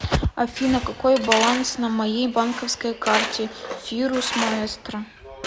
афина какой баланс на моей банковской карте фирус маэстро